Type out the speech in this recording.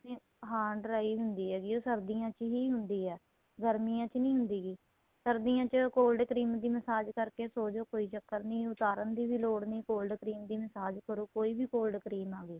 ਨੇ ਹਾਂ dry ਹੁੰਦੀ ਹੈਗੀ ਏ ਇਹ ਸਰਦੀਆਂ ਵਿੱਚ ਹੀ ਹੁੰਦੀ ਹੈਗੀ ਏ ਗਰਮੀਆਂ ਵਿੱਚ ਨਹੀਂ ਹੁੰਦੀ ਹੈਗੀ ਸਰਦੀਆਂ ਚ cold cream ਦੀ massage ਕਰਕੇ ਸੋ ਜੋ ਕੋਈ ਚੱਕਰ ਨਹੀਂ ਉੱਤਾਰਨ ਦੀ ਵੀ ਲੋੜ ਨਹੀਂ cold cream ਦੀ massage ਕਰੋ ਕੋਈ ਵੀ cold cream ਆਵੇਂ